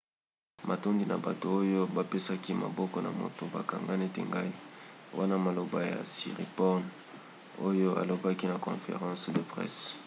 matondi na bato oyo bapesaki maboko na moto bakanga neti ngai wana maloba ya siriporn oyo alobaki na conference de presse